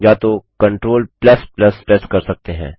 या तो Ctrl press कर सकते हैं